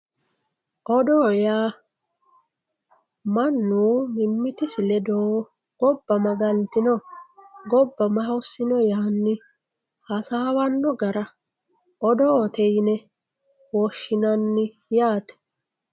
Odoo yaa manu mimitisi ledo goba ma galitino goba ma hosino yaani hasawano gara odoote yine woshinanni yaate.